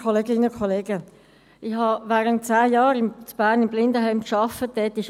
Ich habe während zehn Jahren in Bern im Blindenheim gearbeitet.